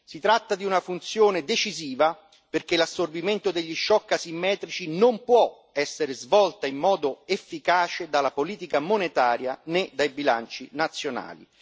Si tratta di una funzione decisiva perché l'assorbimento degli shock asimmetrici non può essere svolto in modo efficace dalla politica monetaria né dai bilanci nazionali.